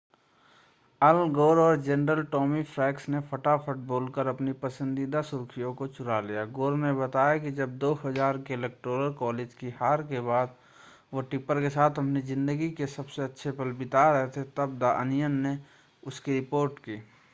अल Gore और general Tommy Franks ने फटाफट बोलकर अपनी पसंदीदा सुर्खियों को चुरा लिया गोर ने बताया कि जब 2000 के इलेक्टोरल कॉलेज की हार के बाद वह टिप्पर के साथ अपनी ज़िंदगी के सबसे अच्छे पल बिता रहे थे तब द अनियन ने उसकी रिपोर्ट की